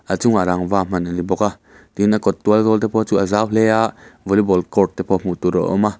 a chungah rangva hman ani bawk a tin a kawt tual zawl te pawh chu a zau hle a volleyball court te pawh hmuh tur a awm a.